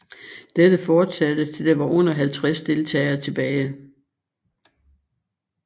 Dette fortsatte til der var under 50 deltagere tilbage